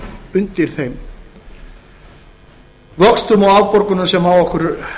undir þeim vöxtum og afborgunum sem á okkur